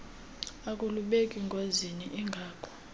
akulubeki ngozini ingako